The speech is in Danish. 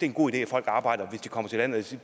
en god idé at folk arbejder hvis de kommer til landet